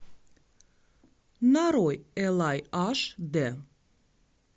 нарой элай аш д